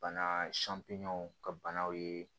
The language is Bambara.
Bana ka banaw ye